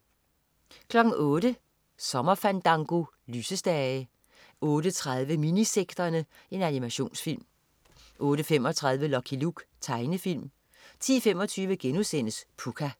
08.00 Søndagsfandango. Lysestage 08.30 Minisekterne. Animationsfilm 08.35 Lucky Luke. Tegnefilm 10.25 Pucca*